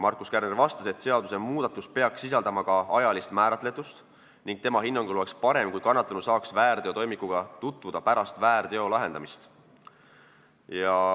Markus Kärner vastas, et seadusmuudatus peaks sisaldama ka ajalist määratletust, ning ütles, et tema hinnangul oleks parem, kui kannatanu saaks väärteotoimikuga tutvuda pärast väärteo lahendamist.